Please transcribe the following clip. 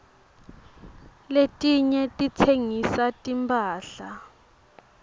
letinye titsengisa timphahla